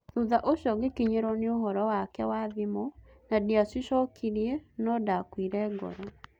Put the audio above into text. Thutha ũcio ngĩkinyĩrwo nĩ ũhoro wake wa thimũ na ndiacicokirie no-ndakuire ngoro.